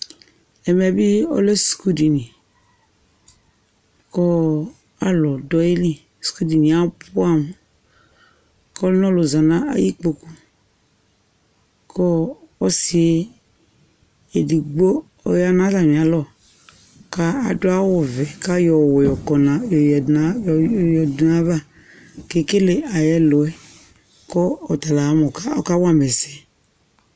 Ɛmɛ bɩ ɔlɛ sukudini kʋ alʋ dʋ ayili, sukudini yɛ abʋɛamʋ kʋ ɔlʋnɔlʋ za nʋ ayʋ ikpoku kʋ ɔsɩ yɛ edigbo ɔya nʋ atamɩalɔ kʋ adʋ awʋvɛ kʋ ayɔ ɔwɛ yɔkɔ nʋ yɔyǝdu nʋ yɔdʋ nʋ ayava kʋ ekele ayʋ ɛlʋ yɛ kʋ ɔta la ama mʋ ɔka ɔkawa ma ɛsɛ